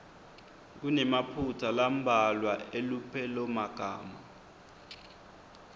kunemaphutsa lambalwa elupelomagama